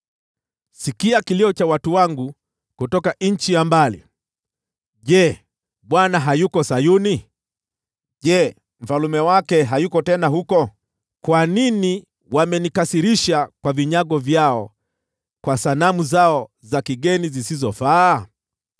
Sikia kilio cha watu wangu kutoka nchi ya mbali: “Je, Bwana hayuko Sayuni? Je, Mfalme wake hayuko tena huko?” “Kwa nini wamenikasirisha kwa vinyago vyao, kwa sanamu zao za kigeni zisizofaa?”